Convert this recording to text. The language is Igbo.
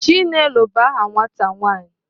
Chinelo bu aha nwata nwaanyị